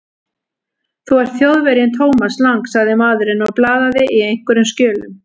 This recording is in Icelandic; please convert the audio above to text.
Þú ert Þjóðverjinn Thomas Lang sagði maðurinn og blaðaði í einhverjum skjölum.